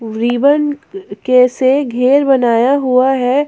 Ribbon के से घेर बनाया हुआ है।